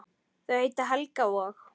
Þau heita Helga og